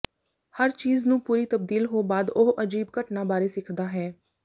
ਹਰ ਚੀਜ਼ ਨੂੰ ਪੂਰੀ ਤਬਦੀਲ ਹੋ ਬਾਅਦ ਉਹ ਅਜੀਬ ਘਟਨਾ ਬਾਰੇ ਸਿੱਖਦਾ ਹੈ